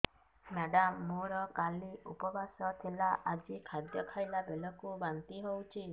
madam ମୋର କାଲି ଉପବାସ ଥିଲା ଆଜି ଖାଦ୍ୟ ଖାଇଲା ବେଳକୁ ବାନ୍ତି ହେଊଛି